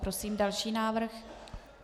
Prosím další návrh.